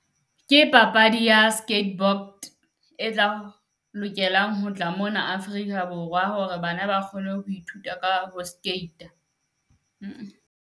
Ke papadi ya skateboard e tla lokelang ho tla mona Afrika Borwa hore bana ba kgone ho ithuta ka ho skate-a.